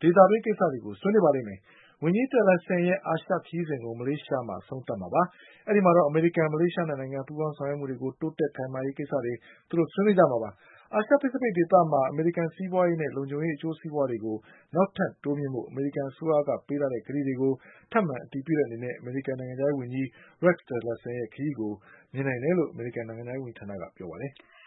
ဒေသတွင်း ကိစ္စတွေကို ဆွေးနွေးပါလိမ့်မယ်။ ဝန်ကြီး Tillerson ရဲ့အာရှခရီးစဉ်ကို မလေးရှားမှာ အဆုံးသတ် မှာဖြစ်ပါတယ်။ အဲဒီမှာတော့ အမေရိကန် မလေးရှား၂ နိုင်ငံ ပူးပေါင်းဆောင်ရွက်မှုတွေ တိုးတက်ခိုင်မာရေး ကိစ္စတွေ ဆွေးနွေးမှာ ဖြစ်ပါတယ်။ အာရှ Pacific ဒေသမှာ အမေရိကန် စီးပွာရေးနဲ့ လုံခြုံရေး အကျိုးစီးပွားတွေကို နောက်ထပ်တိုးမြှင့်ဖို့ အမေရိကန် အစိုးရ ပေးထားတဲ့ ကတိကို ထပ်မံ အတည်ပြုတဲ့ အနေနဲ့ အမေရိကန် နိုင်ငံခြားရေးဝန်ကြီး Tilleson ခရီးကို မြင်နိုင်တယ်လို့ အမေရိကန် နိုင်ငံခြားရေးဌာနက ပြောပါတယ်။